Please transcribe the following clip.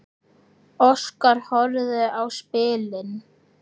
Óskar horfði á spilin.